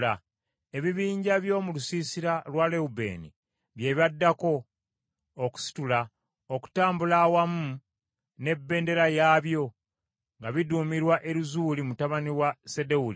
Ebibinja by’omu lusiisira lwa Lewubeeni bye byaddako okusitula okutambula awamu n’ebendera yaabyo, nga biduumirwa Erizuuli mutabani wa Sedewuli.